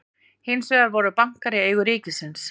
hins vegar voru bankar í eigu ríkisins